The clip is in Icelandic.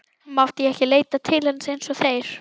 Mátti ég ekki leita til hans eins og þeir?